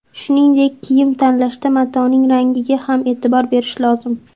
Shuningdek, kiyim tanlashda matoning rangiga ham e’tibor berish lozim.